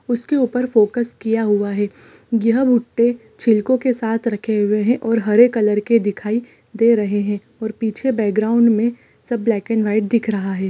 उसके ऊपर फोकस किया हुआ है जहाँ भुट्टे छिलकों के साथ रखे हुए है और कलर के दिखाई दे रहे है और पीछे बैकग्राउंड में सब ब्लैक एंड व्हाइट दिख रहा हैं।